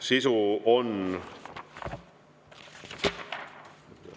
Sisu on …